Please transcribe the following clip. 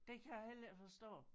Det kan jeg heller ikke forstå